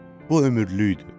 Bu ömürlükdür.